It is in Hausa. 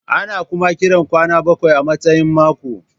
Ana kuma kiran kwana bakwai a matsayin mako.